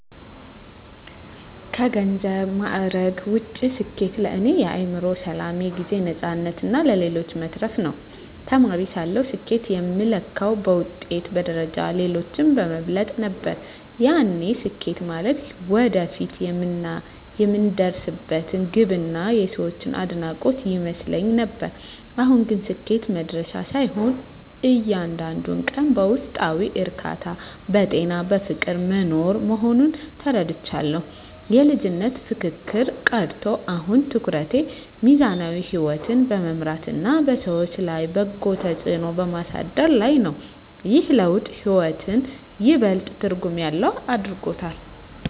ከገንዘብና ማዕረግ ውጭ፣ ስኬት ለእኔ የአእምሮ ሰላም፣ የጊዜ ነፃነትና ለሌሎች መትረፍ ነው። ተማሪ ሳለሁ ስኬትን የምለካው በውጤት፣ በደረጃና ሌሎችን በመብለጥ ነበር፤ ያኔ ስኬት ማለት ወደፊት የምደርስበት ግብና የሰዎች አድናቆት ይመስለኝ ነበር። አሁን ግን ስኬት መድረሻ ሳይሆን፣ እያንዳንዱን ቀን በውስጣዊ እርካታ፣ በጤናና በፍቅር መኖር መሆኑን ተረድቻለሁ። የልጅነት ፉክክር ቀርቶ፣ አሁን ትኩረቴ ሚዛናዊ ሕይወት በመምራትና በሰዎች ላይ በጎ ተጽዕኖ በማሳደር ላይ ነው። ይህ ለውጥ ሕይወትን ይበልጥ ትርጉም ያለው አድርጎታል።